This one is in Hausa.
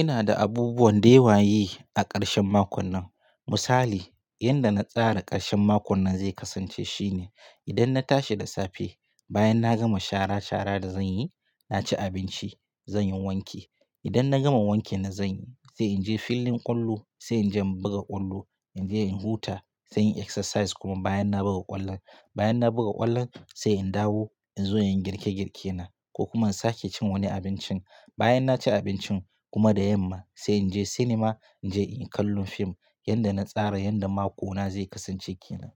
Ina da abubuwan da ya waye a ƙarshen makon nan. Misali, yanda na tsara ƙarshen makon nan zai kasance shine, idan na tashi da safe, bayan na gama shara shara da zan yi, na ci abinci, zan yi wanki. Idan na gama wankin da zan yi, sai in je filin ƙwallo, sai in je in buga ƙwallo, in je in huta, sai in yi exercise kuma bayan na buga ƙwallon. Bayan na buga ƙwallon sai in dawo in zo in yi girke girke na ko kuma in sake cin wani abincin. Bayan na ci abincin kuma da yamma sai in je sinima, in je inyi kallon fim. Yanda na tsara yanda makona zai kasance ke nan.